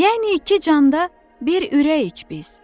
Yəni iki canda bir ürəyik biz.